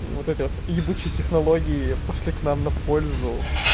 вот этот ебучей технологии пошли к нам на пользу